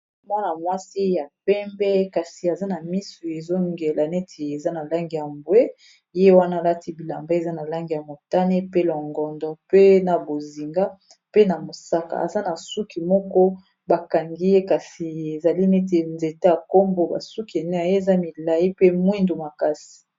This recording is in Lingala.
Mwana-mwasi ya pembe kasi aza na misu ezongela neti eza na lange ambwe ye wana alati bilamba eza na lange ya motane pe longondo, pe na bozinga, pe na mosaka aza na suki moko bakangi ye kasi ezali neti nzete ya nkombo basuki enei aye eza milai pe mwindu makasi.